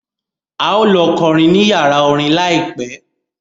A ó lọ kọrin ní yàrá orin láìpẹ́